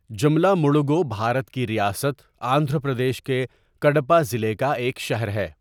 جملہ مڑوگو بھارت کی ریاست آندھرا پردیش کے کڈپہ ضلع کا ایک شہر ہے.